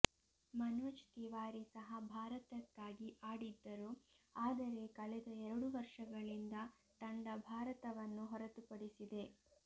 ಮನೋಜ್ ತಿವಾರಿ ಸಹ ಭಾರತಕ್ಕಾಗಿ ಆಡಿದ್ದರು ಆದರೆ ಕಳೆದ ಎರಡು ವರ್ಷಗಳಿಂದ ತಂಡ ಭಾರತವನ್ನು ಹೊರತುಪಡಿಸಿದೆ